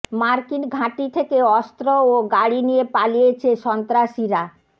মার্কিন ঘাঁটি থেকে অস্ত্র ও গাড়ি নিয়ে পালিয়েছে সন্ত্রাসীরা